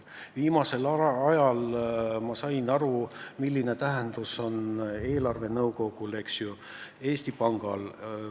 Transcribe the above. Viimasel ajal olen ma aru saanud, milline tähtsus on eelarvenõukogul, Eesti Pangal.